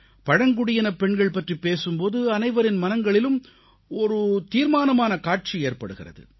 பழங்குடியினப்பெண்கள் பற்றிப் பேசும் போது அனைவரின் மனங்களிலும் ஒரு தீர்மானமான காட்சி ஏற்படுகிறது